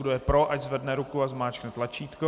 Kdo je pro, ať zvedne ruku a zmáčkne tlačítko.